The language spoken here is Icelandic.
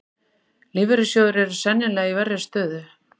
Lífeyrissjóðir eru sennilega í verri stöðu